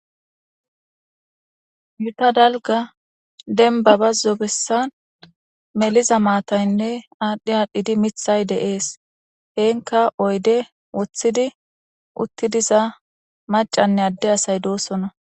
Gita dalga denbaba zobessan meliza maataynne aadhdhi aadhdhidi mithay deees heenka oyde woththidi utti diza macanne adde asay doosona.